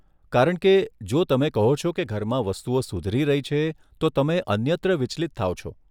કારણ કે, જો તમે કહો છો કે ઘરમાં વસ્તુઓ સુધરી રહી છે, તો તમે અન્યત્ર વિચલિત થાઓ છો.